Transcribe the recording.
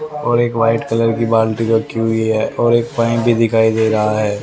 और एक white colour की बाल्टी रखी हुई है और एक फैन भी दिखाई दे रहा है।